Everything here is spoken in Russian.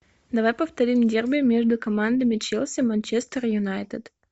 давай повторим дерби между командами челси манчестер юнайтед